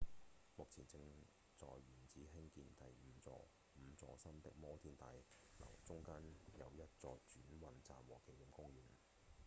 目前正在原址興建五座新的摩天大樓中間有一座轉運站和紀念公園